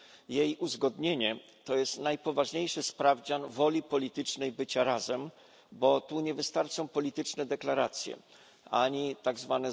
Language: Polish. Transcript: Jej uzgodnienie to jest najpoważniejszy sprawdzian woli politycznej bycia razem, bo tu nie wystarczą polityczne deklaracje ani tzw.